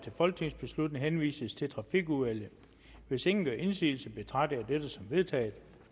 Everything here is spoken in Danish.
folketingsbeslutning henvises til trafikudvalget hvis ingen gør indsigelse betragter jeg dette som vedtaget